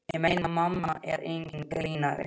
Ég meina, mamma er enginn grínari.